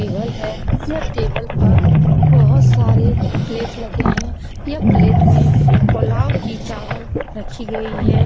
यह टेबल है यह टेबल पर बहुत सारे प्लेट लगे हैं यह प्लेट में पुलाव की चावल रखी गई है।